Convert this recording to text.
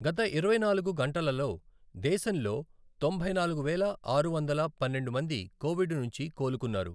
గత ఇరవై నాలుగు గంటలలోదేశంలో తొంభై నాలుగు వేల ఆరు వందల పన్నెండు మంది కోవిడ్ నుంచి కోలుకున్నారు.